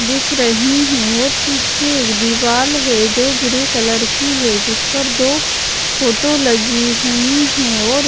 दिख रही हैं और पीछे एक दीवाल है जो ग्रे कलर की है जिस पर दो फोटो लगी हुई है और--